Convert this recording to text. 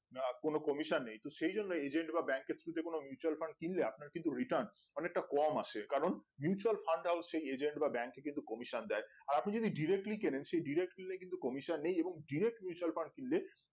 কোন কমিশন নেই তো সেই জন্য agent বা bank এর through তে কোন mutual Fund কিনলে আপনার কিন্তু return অনেকটা কম আছে কারণ mutual Fundagent Bank এ কিন্তু কমিশন দেয় আর আপনি যদি directly কিনেন সেই directly কিন্তু কমিশন নেই এবং directly